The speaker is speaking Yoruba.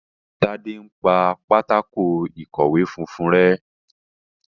Tade npá Pátákó ìkọ̀wé funfun rẹ.